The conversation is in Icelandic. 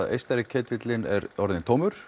austari ketillinn er orðin tómur